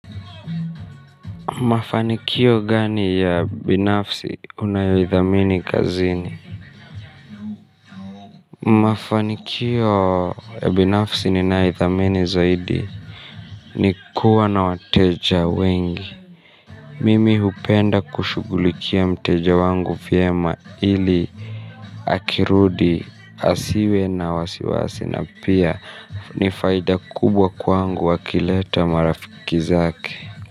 Mafanikio gani ya binafsi unayoithamini kazini. Mafanikio binafsi ninayoithamini zaidi ni kuwa na wateja wengi. Mimi hupenda kushughulikia mteja wangu vyema ili akirudi asiwe na wasiwasi na pia ni faida kubwa kwangu wakileta marafiki zake.